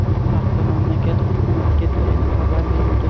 Bu haqda mamlakat Hukumatiga tayanib xabar berilgan.